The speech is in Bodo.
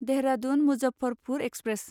देहरादुन मुजफ्फरपुर एक्सप्रेस